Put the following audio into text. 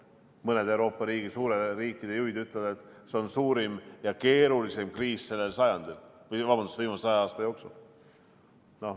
Mõned Euroopa riikide juhid ütlevad, et see on suurim ja keerulisim kriis sellel sajandil, või vabandust, viimase 100 aasta jooksul.